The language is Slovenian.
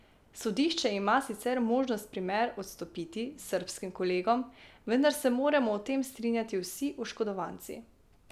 Sodišče ima sicer možnost primer odstopiti srbskim kolegom, vendar se morajo o tem strinjati vsi oškodovanci.